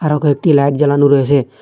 আরো কয়েকটি লাইট জালানো রয়েছে।